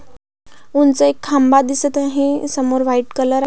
उंच एक खांब दिसत आहे समोर व्हाइट कलर --